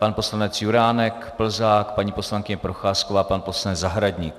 Pan poslanec Juránek, Plzák, paní poslankyně Procházková, pan poslanec Zahradník.